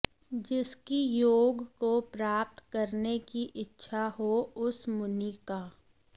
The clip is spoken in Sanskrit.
जिसकी योग को प्राप्त करने की इच्छा हो उस मुनि का